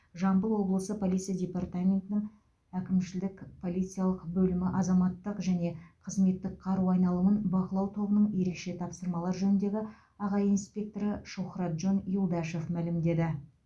деп жамбыл облысы полиция департаментінің әкімшілік полициялық бөлімі азаматтық және қызметтік қару айналымын бақылау тобының ерекше тапсырмалар жөніндегі аға инспекторы шухратжон юлдашев мәлімдеді